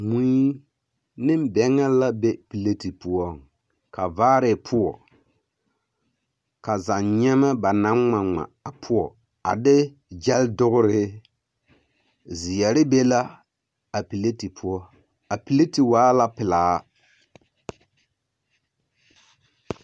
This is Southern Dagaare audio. Mui ne bԑŋԑ la be piliti poͻŋ. Ka vaare poͻ, ka zanyeԑmԑ ba naŋ ŋma ŋma a poͻ a de gyԑle dogere. Zeԑre be la a piliti poͻ. A piliti waa la pelaa.